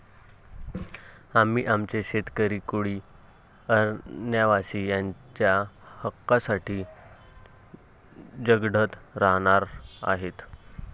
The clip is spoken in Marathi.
आम्ही आमचे शेतकरी, कोळी, अरण्यवासी यांच्या हक्कासाठी झगडत राहणार आहोत.